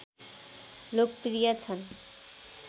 लोकप्रिय छन्